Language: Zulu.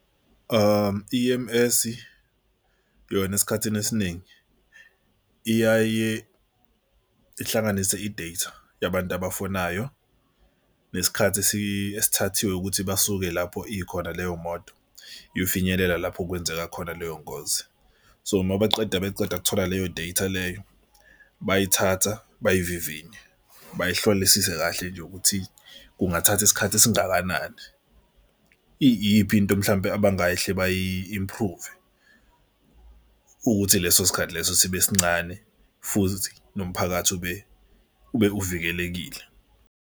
E_M_S yona esikhathini esiningi iyaye ihlanganise i-data yabantu abafonayo nesikhathi esethathiwe ukuthi basuke lapho ikhona leyo moto iyofinyelela lapho kwenzeka khona leyo ngozi. So mabaqeda beceda kuthola leyo data leyo bayithatha bayivininye bayihlolisise kahle nje ukuthi kungathathi isikhathi esingakanani. Iyiphi into mhlampe abangahle bayi-improve ukuthi leso sikhathi leso sibe sincane futhi nomphakathi ube ube uvikelekile.